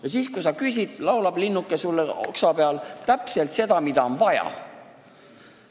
Ja siis, kui sa küsid, laulab linnuke sulle oksa peal täpselt seda, mida on vaja.